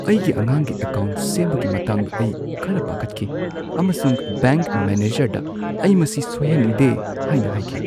ꯑꯩꯒꯤ ꯑꯉꯥꯡꯒꯤ ꯑꯦꯀꯥꯎꯟꯠ ꯁꯦꯝꯕꯒꯤ ꯃꯇꯥꯡꯗ ꯑꯩ ꯈꯔ ꯄꯥꯈꯠꯈꯤ ꯑꯃꯁꯨꯡ ꯕꯦꯡꯛ ꯃꯦꯅꯦꯖꯔꯗ ꯑꯩ ꯃꯁꯤ ꯁꯣꯏꯍꯟꯅꯤꯡꯗꯦ ꯍꯥꯏꯅ ꯍꯥꯏꯈꯤ ꯫